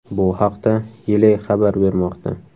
Bu haqda Yle xabar bermoqda .